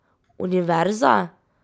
Univerza?